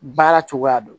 Baara cogoya dɔn